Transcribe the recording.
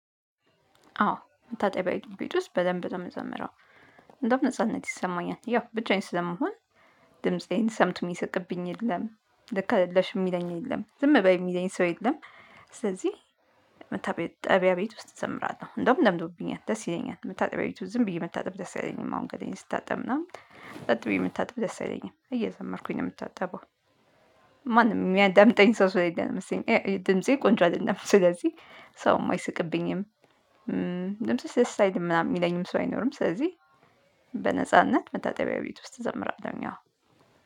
አዎ መታጠቢያ ቤት ውስጥ በደንብ ነው የምዘምረው። እንደውም ነጻነት ይሰማኛል። ያው ብቻዬን ስለመሆን ድምፄን ሰምቶ የሚሰቅብኝ የለም ልክ አይደለሽ የሚለኝ የለም ዝም በይ የሚለኝ ሰው የለም። ስለዚህ መታጠቢያ ጠብያ ቤት ውስጥ እዘምራለሁ። እንደውም ለምዶብኛል ደስ ይለኛል መታጠቢያ ቤት ውስጥ ዝም ብዬ መታጠብ ደስ ያለኝም። አሁን ገላዬን ስታጠብ እና ጸጥ ብዬ መታጠብ ደስ አይለኝም እየዘመርኩኝ ነው የምታጠበው። ማንም የሚያዳምጠኝ ሰው ስለሌ ነው መሰለኝ ድምፄ ቆንጆ አይደለም። ስለዚህ ሰውም አይስቅብኝም። ደስ ምናምን የሚለኝም ሰው አይኖርም። ስለዚህ በነጻነት መታጠቢያ ቤት ውስጥ እዘምራለሁ ሀሁን።